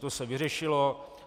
To se vyřešilo.